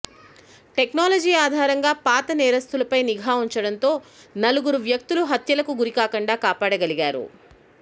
technology ఆధారంగా పాత నేరస్తులపై నిఘా ఉంచడంతో నలుగురు వ్యక్తులు హత్యలకు గురికాకుండా కాపాడగలిగారు